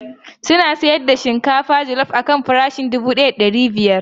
Suna sayar da shinkafa jallop akan farashin dubu daya da ɗari biyar.